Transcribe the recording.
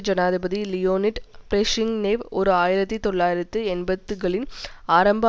ஜனாதிபதி Leonid Brezhnev ஓர் ஆயிரத்தி தொள்ளாயிரத்தி எண்பதுகளின் ஆரம்ப